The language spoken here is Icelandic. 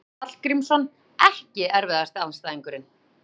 Jónas Hallgrímsson EKKI erfiðasti andstæðingur?